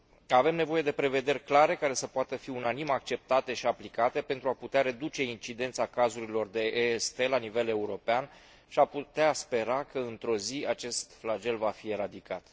Avem nevoie de prevederi clare care să poată fi unanim acceptate și aplicate pentru a putea reduce incidența cazurilor de EST la nivel european și a putea spera că într o zi acest flagel va fi eradicat.